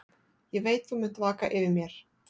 Ég veit þú munt vaka yfir mér.